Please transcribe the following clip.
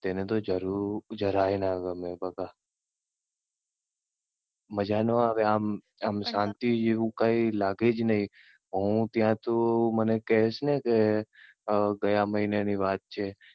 તેને તો જરાય ના ગમે બકા. મજા ના આવે આમ શાંતિ જેવું કઈ લાગે જ નહી. હું ત્યાં તું મને કહે છે ને કે ગયા મહિના ની વાત છે